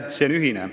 See on ühine.